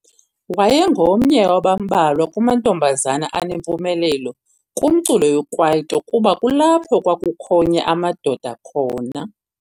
Wayengomnye wabambalwa kumantombazana anempumelelo kumculo wekwaito kuba kulapho kwakukhonya amadoda khona.